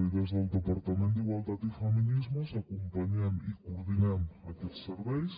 i des del departament d’igualtat i feminismes acompanyem i coordinem aquests serveis